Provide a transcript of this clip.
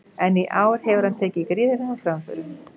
En í ár hefur hann tekið gríðarlegum framförum.